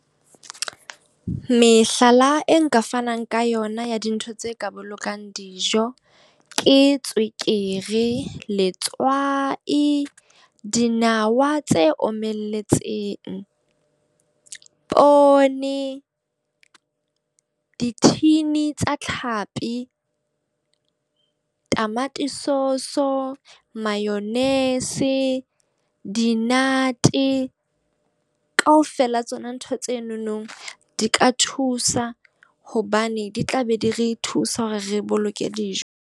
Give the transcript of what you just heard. Mehlala e nka fanang ka yona ya dintho tse ka bolokang dijo. Ke tswekere, letswai, dinawa tse omeletseng, poone, di-tin tsa Tlhapi, tamati source, mayonise, di-nut. Ka ofela tsona ntho tsenonong di ka thusa hobane di tla be di re thusa hore re boloke dijo.